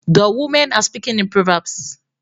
The women are speaking in proverbs